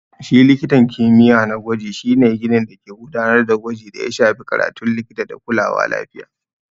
Shi likitan kimiyya na gwaji shi ne ginin dake gudanar da gwaji da ya shafi karatun likita da kulawa lafiya.